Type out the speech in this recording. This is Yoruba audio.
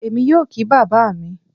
Èmi yóò kí bàbá mi